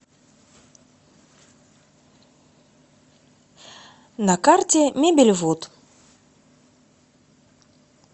на карте мебельвуд